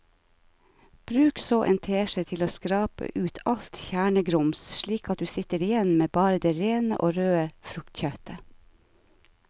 Bruk så en teskje til å skrape ut alt kjernegrums slik at du sitter igjen med bare det rene og røde fruktkjøttet.